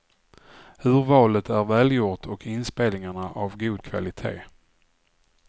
Urvalet är välgjort och inspelningarna av god kvalitet.